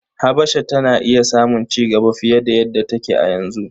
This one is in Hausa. Habasha tana iya samun cigaba fiye da yadda take a yanzu.